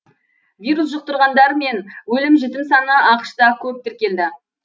вирус жұқтырғандар мен өлім жітім саны ақш та көп тіркелді